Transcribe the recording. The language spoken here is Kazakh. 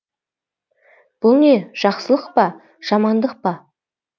бұл не жақсылық па жамандық па